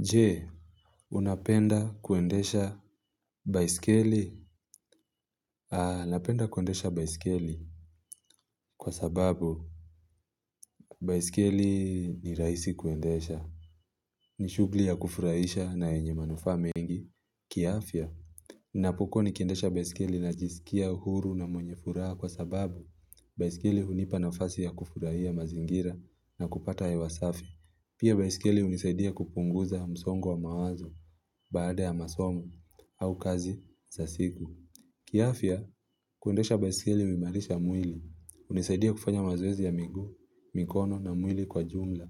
Je, unapenda kuendesha baiskeli? Aa, napenda kuendesha baiskeli kwa sababu baiskeli ni rahisi kuendesha. Ni shughuli ya kufurahisha na yenye manufaa mengi, kiafya. Napokuwa nikendesha baiskeli najisikia uhuru na mwenye furaha kwa sababu baiskeli hunipa nafasi ya kufurahia mazingira na kupata hewa safi. Pia baisikeli hunisaidia kupunguza msongo wa mawazo baada ya masomo au kazi za siku. Kiafya, kuendesha baisikeli huimarisha mwili hunisaidia kufanya mazoezi ya miguu, mikono na mwili kwa jumla,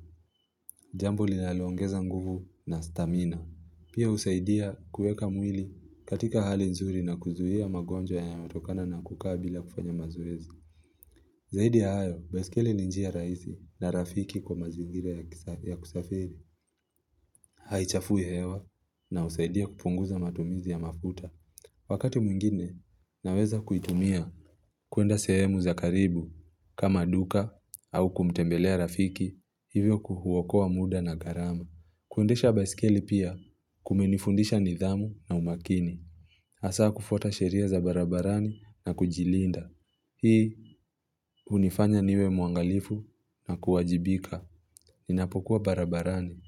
jambo linaloongeza nguvu na stamina. Pia husaidia kueka mwili katika hali nzuri na kuzuia magonjwa yanayo tokana na kukaa bila kufanya mazoezi. Zaidi ya hayo, baisikeli ni njia rahisi na rafiki kwa mazingira ya kusafiri. Haichafui hewa na husaidia kupunguza matumizi ya mafuta. Wakati mwingine, naweza kuitumia kuenda sehemu za karibu kama duka au kumtembelea rafiki hivyo kuuokoa muda na gharama. Kuendesha baisikeli pia kumenifundisha nidhamu na umakini. Hasa kufuata sheria za barabarani na kujilinda. Hii hunifanya niwe muangalifu na kuwajibika ninapokuwa barabarani.